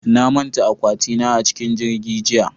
Na manta akwati na a cikin jirgi jiya